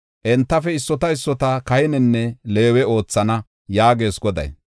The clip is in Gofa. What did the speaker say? Entafe issota issota kahinenne Leewe oothana” yaagees Goday.